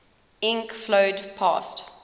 ink flowed past